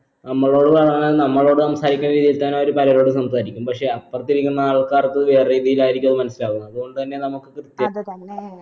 നമ്മളോടുള്ള ആ നമ്മളോട് സംസാരിക്കുന്ന രീതി തന്നെ അവര് പലരോടും സംസാരിക്കും പക്ഷെ അപ്പറതിരിക്കുന്ന ആൾക്കാർക്ക് വേറെ രീതിയിലായിരിക്കും അത് മനസിലാവുക അത് കൊണ്ട് തന്നെ നമ്മക് കൃത്യായിട്ട്